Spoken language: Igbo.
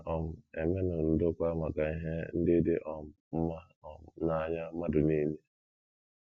Na - um emenụ ndokwa maka ihe ndị dị um mma um n’anya mmadụ nile.